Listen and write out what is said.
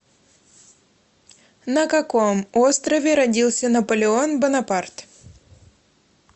на каком острове родился наполеон бонапарт